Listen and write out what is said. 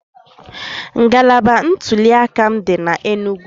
Ngalaba ntuliaka m dị n'Enugwu